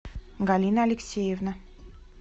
галина алексеевна